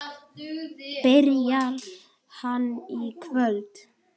Byrjar hann í kvöld?